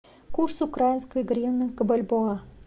курс украинской гривны к бальбоа